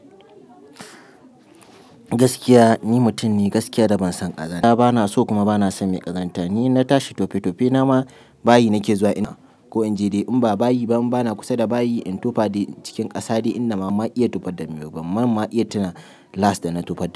Gaskiya ni mutum ne gaskiya da ban son ƙazanta, bana so kuma bana son mai ƙazanta. Ni inna tashi tofe tofe, nama bayi nake zuwa ina ko in je dai in ba bayi ba, in bana kusa da bayi in tufa da cikin ƙasa dai ina ma iya tufar da me. Ban mam iya tana last da na tufar da.